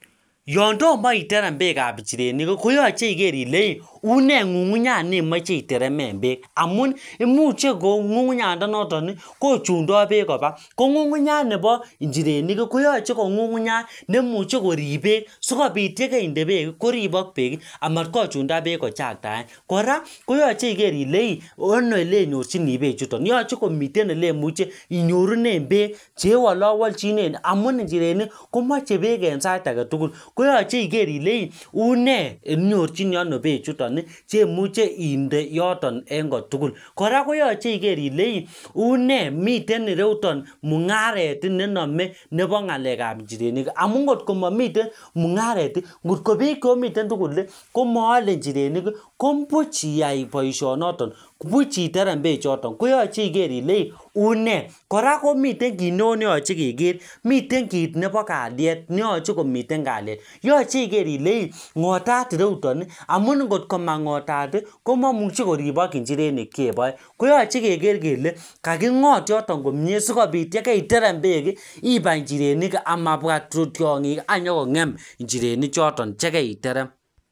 yondomo iterem beek ab njirenik ii koyoche iger ileiiunee ng'ung'unyat neimoche iterem beek amun imuche kou ng'ung'unyandenoton ii kochundo beek kopa kong'ung'unyat nebo njirenik koyoche kong'ung'unyat neimuche korib beek koribe beek sikopit yekeinde beek koripok beek ii amat kochunda beek kochaktaen kora koyoche iger ile ii ano elenyorchini bechuton yoche komiten ele muche inyorunen beek ele wolowlchinen amun njirenik komoche beek en sait agetugul koyoche iger ile ii unee inyorchini anoo bechuton ii chemuche inde yoton en kotugul kora koyoche iger ilee ii une miten ire yuton mung'aret nenome nepo ngalek ab njirenikii amun ngotko momiten mung'aret ngotkobiik cheomiten tugul ii komoole njirenik kobuch iyai boishonoton buch iterem beechoton koyoche iger ile ii unee kora komiten kit neoo neyoche keger mitne kit nepo kaliet yoche komiten kaliet yoche iger ile ii ngotat ireyuton ii amun ngotko mangotat ii komomuche koribok njireni chpoe koyoche keger kele kakingot yoton komie sikopit yekeiterem beek ii ipai njirenik amabwa tiongik ii anyokongem njirenik choton yekei terem